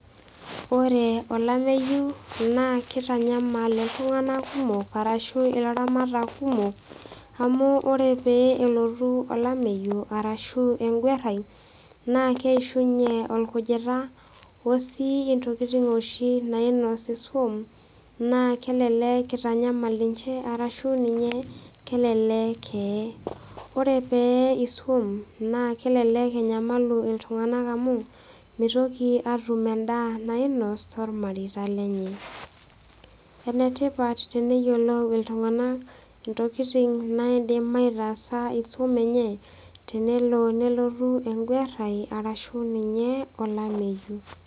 Ore olameyu, naa keitanyamal iltung'ana kumok, arashu ilairamatak kumok, amu ore pee elotu olameyu arashu enguarai naa keishuunye olkujita o oshi intokitin nainosi oshi iswam, naa kelelek eitanyamal ninche, arashu ninye kelelek eye. Kore pee eye iswam naa kelelek enyamalu iltung'ana amu, meitoki atum endaa nainos toolmareita lenye. Ene tipat teneyiolou iltung'ana intokitin naidim aitasaa iswam enye, tenelo nelotu engwarai arashu ninye olameyu.